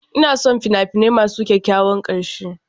Ina son fina-finai masu kyakkyawan ƙarshe.